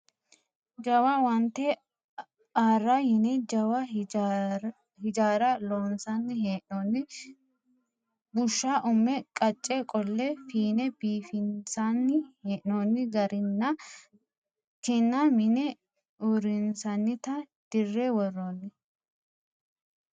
Jawa owaante aara yine jawa hijaara loonsanni hee'nonni busha ume qace qolle fiine biifinsanni hee'nonni garinna ki'na mine uurrinsannitta dire woronni.